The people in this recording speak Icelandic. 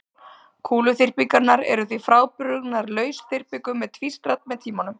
Kúluþyrpingarnar eru því frábrugðnar lausþyrpingum sem tvístrast með tímanum.